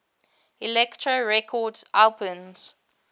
elektra records albums